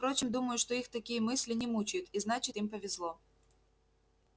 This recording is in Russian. впрочем думаю что их такие мысли не мучают и значит им повезло